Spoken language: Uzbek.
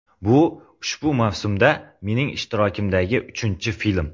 Bu ushbu mavsumda mening ishtirokimdagi uchinchi film.